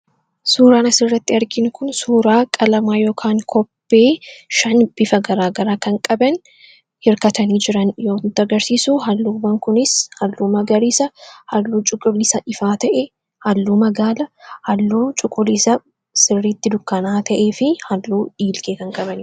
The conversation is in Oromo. Suuraan asirratti arginu kun suuraa qalamaa yookaan kobbee shan bifa garaagaraa kan qaban hirkatanii jiran yoo nutti agarsiisu, halluuwwan kunis halluu magariisa, halluu cuquliisa ifaa ta'e, halluu magaala, halluu cuquliisa sirriitti dukkaanaa'aa ta'ee fi halluu dhiilgee kan qabani.